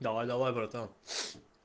давай давай братан